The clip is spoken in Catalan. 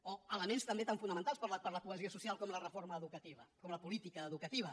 o elements també tan fonamentals per a la cohesió social com la reforma educativa com la política educativa